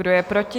Kdo je proti?